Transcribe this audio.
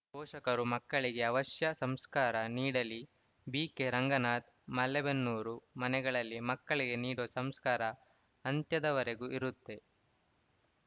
ಪೋಷಕರು ಮಕ್ಕಳಿಗೆ ಅವಶ್ಯ ಸಂಸ್ಕಾರ ನೀಡಲಿ ಬಿಕೆರಂಗನಾಥ್‌ ಮಲೇಬೆನ್ನೂರು ಮನೆಯಲ್ಲಿ ಮಕ್ಕಳಿಗೆ ನೀಡುವ ಸಂಸ್ಕಾರ ಅಂತ್ಯದವರೆಗೂ ಇರುತ್ತೆ